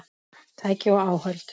Tæki og áhöld